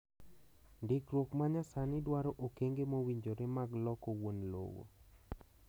Ndikruok ma nyasani dwaro okenge mowinjore mag loko wuon lowo.